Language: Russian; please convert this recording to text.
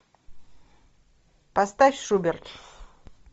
поставь шуберт